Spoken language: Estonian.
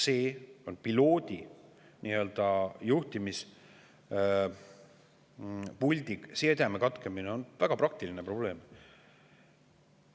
See on piloodi ja juhtimispuldi sideme katkemine, väga praktiline probleem.